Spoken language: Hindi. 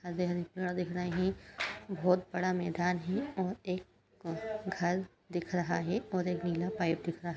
दिख रहा ही | बहुत बड़ा मैदान हे और एक घर दिख रहा है और एक नीला पाइप दिख रहा --